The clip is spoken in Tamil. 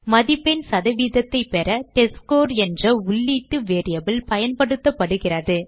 மதிப்பெண் சதவீதத்தைப் பெற டெஸ்ட்ஸ்கோர் என்ற உள்ளீட்டு வேரியபிள் பயன்படுத்தப்படுகிறது